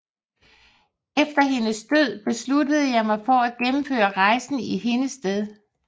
Efter hendes død besluttede jeg mig for at gennemføre rejsen i hendes sted